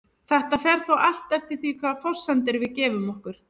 Þetta fer þó allt eftir því hvaða forsendur við gefum okkur.